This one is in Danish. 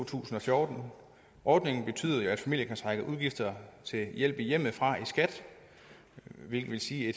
tusind og fjorten ordningen betyder at familier kan trække udgifter til hjælp i hjemmet fra i skat hvilket vil sige at